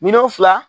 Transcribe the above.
Miliyɔn fila